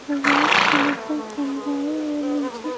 white colour का कमरा है और नीचे--